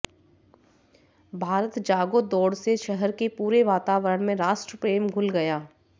भारत जागो दौड़ से शहर के पूरे वातावरण में राष्ट्र प्रेम घुल गया